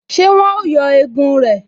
Ṣé wọn ó yọ egun rẹ̀?